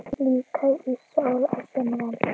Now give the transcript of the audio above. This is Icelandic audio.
Líka í sól á sumrin.